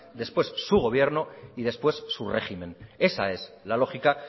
después su gobierno y después su régimen esa es la lógica